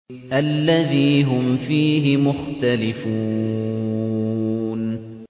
الَّذِي هُمْ فِيهِ مُخْتَلِفُونَ